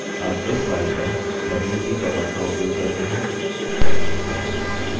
अब इस file पर wc command का उपयोग करते हैं